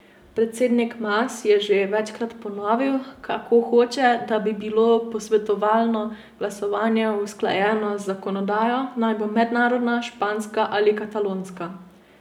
Predsednik Mas je že večkrat ponovil, kako hoče, da bi bilo posvetovalno glasovanje usklajeno z zakonodajo, naj bo mednarodna, španska ali katalonska.